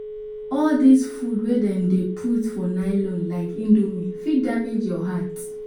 All dis food wey dem dey put for nylon like indomie fit damage your heart